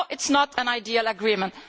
No, it is not an ideal agreement.